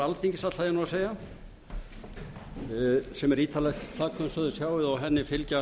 alþingis sem er ítarlegt plagg eins og þið sjáið og henni fylgja